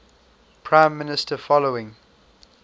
prime minister following